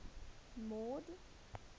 mord